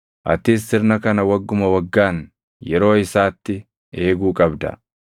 Atis sirna kana wagguma waggaan yeroo isaatti eeguu qabda.